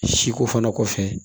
Siko fana kɔfɛ